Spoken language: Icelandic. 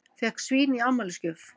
Fékk svín í afmælisgjöf